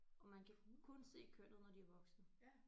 Og man kan kun se kønnet når de er voksne